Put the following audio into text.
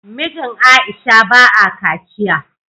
Mijin Aisha ba a kaciya